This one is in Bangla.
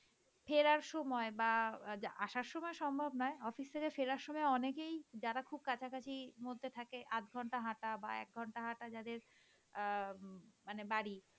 ফেরার সময় বাহঃ আসার সময় সম্ভব নয় অফিস থেকে ফেরার সময় অনেকেই যারা খুব কাছাকাছি মধ্যে থাকে আধঘন্টা হাঁটা বাহঃ এক ঘন্টা হাটা যাদের অ্যাঁ মানে বাড়ি